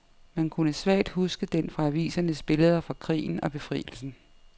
Man kunne svagt huske den fra avisernes billeder fra krigen og befrielsen.